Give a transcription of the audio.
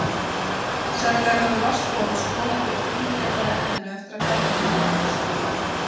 Sennilega hefur vatnsflóð skolað burt fíngerðara efninu eftir að garðurinn myndaðist.